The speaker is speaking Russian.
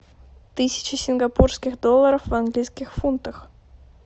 тысяча сингапурских долларов в английских фунтах